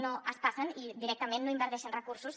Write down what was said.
no es passen i directament no hi inverteixen recursos